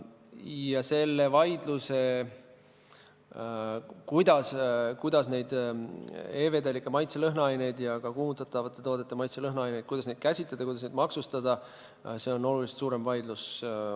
Ja see vaidlus, kuidas e-vedelikke, maitse-lõhnaaineid ja ka kuumutatavate toodete maitse-lõhnaaineid käsitleda ja maksustada, on oluliselt suurem.